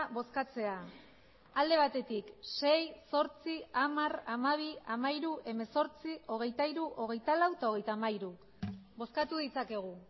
bozkatzea alde batetik sei zortzi hamar hamabi hamairu hemezortzi hogeita hiru hogeita lau eta hogeita hamairu bozkatu ditzakegu